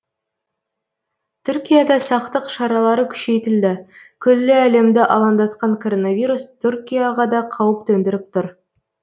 түркияда сақтық шаралары күшейтілді күллі әлемді алаңдатқан коронавирус түркияға да қауіп төндіріп тұр